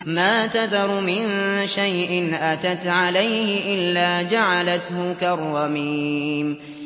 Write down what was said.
مَا تَذَرُ مِن شَيْءٍ أَتَتْ عَلَيْهِ إِلَّا جَعَلَتْهُ كَالرَّمِيمِ